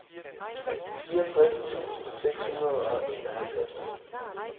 fireogtres tusind seks hundrede og enoghalvfems